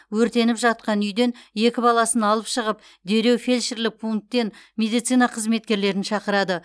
өртеніп жатқан үйден екі баласын алып шығып дереу фельдшерлік пункттен медицина қызметкерлерін шақырады